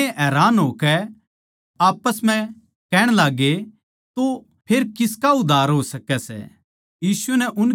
वे घणेए हैरान होकै आप्पस म्ह कहण लाग्गे तो फेर किसका उद्धार हो सकै सै